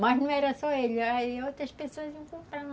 Mas não era só eles, aí outras pessoas iam comprando.